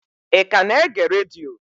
Ị ka na-ege redio?